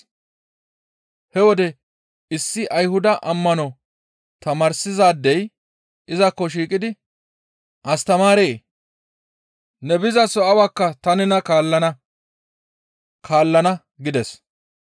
He wode issi Ayhuda ammano tamaarsizaadey izakko shiiqidi, «Astamaaree! Ne bizaso awakka ta nena kaallana» gides.